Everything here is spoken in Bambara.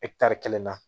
kelen na